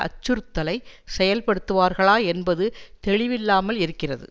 அச்சுறுத்தலை செயல்படுத்துவார்களா என்பது தெளிவில்லாமல் இருக்கிறது